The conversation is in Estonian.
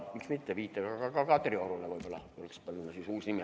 Miks mitte panna siis sama viite peale ka Kadriorule uus nimi.